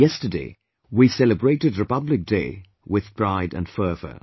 Yesterday, we celebrated Republic Day with pride and fervour